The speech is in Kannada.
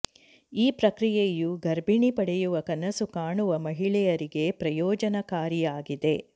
ಈ ಪ್ರಕ್ರಿಯೆಯು ಗರ್ಭಿಣಿ ಪಡೆಯುವ ಕನಸು ಕಾಣುವ ಮಹಿಳೆಯರಿಗೆ ಪ್ರಯೋಜನಕಾರಿಯಾಗಿದೆ